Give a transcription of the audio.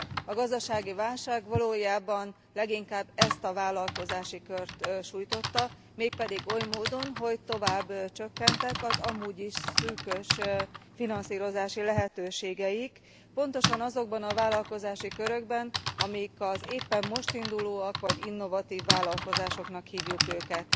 A gazdasági válság valójában leginkább ezt a vállalkozási kört sújtotta, mégpedig oly módon, hogy tovább csökkentek az amúgy is szűkös finanszírozási lehetőségeik, pontosan azokban a vállalkozási körökben, amik az éppen most indulóak vagy innovatív vállalkozásoknak hívjuk őket.